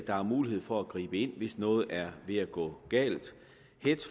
er mulighed for at gribe ind hvis noget er ved at gå galt